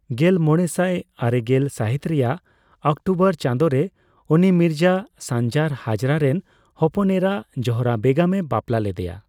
ᱜᱮᱞᱢᱚᱲᱮᱥᱟᱭ ᱟᱨᱮᱜᱮᱞ ᱥᱟᱹᱦᱤᱛ ᱨᱮᱭᱟᱜ ᱚᱠᱴᱳᱵᱚᱨ ᱪᱟᱸᱫᱳᱨᱮ, ᱩᱱᱤ ᱢᱤᱨᱡᱟ ᱥᱟᱱᱡᱟᱨ ᱦᱟᱡᱽᱨᱟ ᱨᱮᱱ ᱦᱚᱯᱚᱱ ᱮᱨᱟ ᱡᱳᱦᱨᱟ ᱵᱮᱜᱚᱢᱮ ᱵᱟᱯᱞᱟ ᱞᱮᱫᱮᱭᱟ ᱾